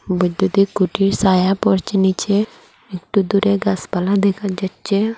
ছবিটিতে খুঁটির সায়া পড়ছে নীচে একটু দূরে গাসপালা দেখা যাচ্ছে।